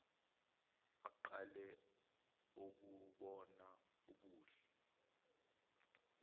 aqale ukubona ubuhle